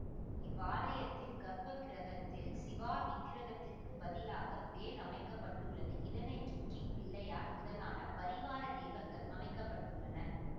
இவ்வாலயத்தின் கர்ப்பக்கிருகத்தில் சிலாவிக்கிருகத்திற்குப் பதிலாக வேல் அமைக்க பட்டுள்ளது இதனை சுற்றி பிள்ளையார் முதலான பரிவாரத் தெய்வங்கள் அமைக்க பட்டுள்ளன